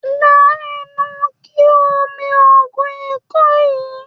La ẹnu kí o mi oògùn ikọ́ yìí.